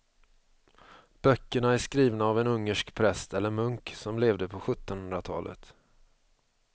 Böckerna är skrivna av en ungersk präst eller munk som levde på sjuttonhundratalet.